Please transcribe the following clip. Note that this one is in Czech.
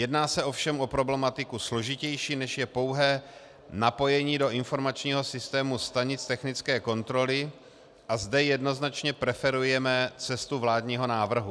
Jedná se ovšem o problematiku složitější, než je pouhé napojení do informačního systému stanic technické kontroly, a zde jednoznačně preferujeme cestu vládního návrhu.